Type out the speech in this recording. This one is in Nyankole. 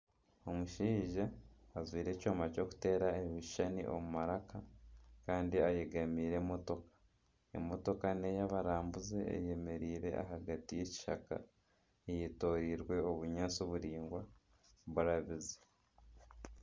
Omushaija ajwaire ekyoma ky'okuteera ebishushani omu maraka kandi ayegamiire emotooka, emotooka neya abarambuzi eyemereire ahagati y'ekishaka eyetorirwe obunyaatsi buraingwa burabize.